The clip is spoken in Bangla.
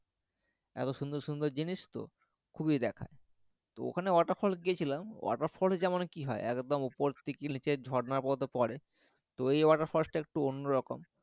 এত সুন্দর সুন্দর জিনিস তো খুবই দেখা যায় তো ওখানে water falls এ গিয়েছিলাম water falls এ যেমন কি হয় একদম ওপর থেকে নিচে ঝর্নার মত পড়ে তো এই water falls টা একটু অন্যরকম